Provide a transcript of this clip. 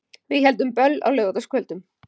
Við héldum böll á laugardagskvöldum.